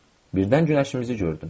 Birdən günəşimizi gördüm.